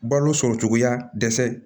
Balo sɔrɔ cogoya dɛsɛ